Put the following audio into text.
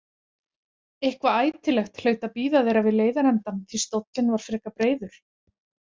Eitthvað ætilegt hlaut að bíða þeirra við leiðarendann því stóllinn var frekar breiður.